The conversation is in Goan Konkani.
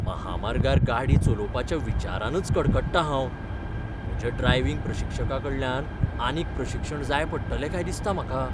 म्हामार्गार गाडी चलोवपाच्या विचारानच कडकडटां हांव, म्हज्या ड्रायव्हिंग प्रशिक्षकाकडल्यान आनीक प्रशिक्षण जाय पडटलें काय दिसता म्हाका.